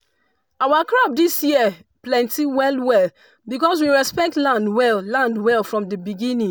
our crop this year plenty well well because we respect land well land well from the beginning.